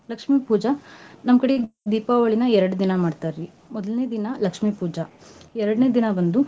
ಲಕ್ಷ್ಮೀ ಪೂಜಾ, ನಮ್ ಕಡೆ ದೀಪಾವಳಿನ ಎರ್ಡ್ ದಿನಾ ಮಾಡ್ತಾರೀ. ಮೊದ್ನೇ ದಿನಾ ಲಕ್ಷ್ಮೀ ಪೂಜಾ ಎರ್ಡನೇ ದಿನಾ ಬಂದು.